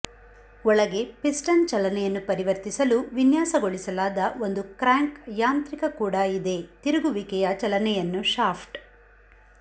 ಒಳಗೆ ಪಿಸ್ಟನ್ ಚಲನೆಯನ್ನು ಪರಿವರ್ತಿಸಲು ವಿನ್ಯಾಸಗೊಳಿಸಲಾದ ಒಂದು ಕ್ರ್ಯಾಂಕ್ ಯಾಂತ್ರಿಕ ಕೂಡ ಇದೆ ತಿರುಗುವಿಕೆಯ ಚಲನೆಯನ್ನು ಶಾಫ್ಟ್